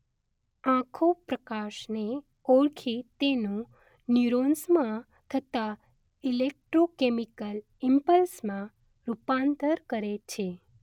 આંખો પ્રકાશને ઓળખી તેનું ન્યુરોન્સમાં થતા ઈલેક્ટ્રોકેમિકલ ઈમ્પલ્સમાં રૂપાંતર કરે છે